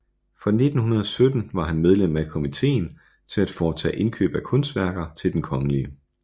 Fra 1917 var han medlem af Komitéen til at foretage Indkøb af Kunstværker til den kgl